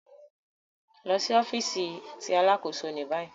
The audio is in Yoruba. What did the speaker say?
Lọ si ọfiisi ti Alakoso ni bayi